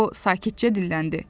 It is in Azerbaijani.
Qobo sakitcə dilləndi.